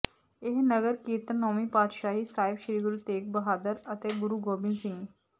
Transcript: ਇਹ ਨਗਰ ਕੀਰਤਨ ਨੌਵੀਂ ਪਾਤਸ਼ਾਹੀ ਸਾਹਿਬ ਸ੍ਰੀ ਗੁਰੂ ਤੇਗ ਬਹਾਦਰ ਅਤੇ ਗੁਰੂ ਗੋਬਿੰਦ ਸਿੰਘ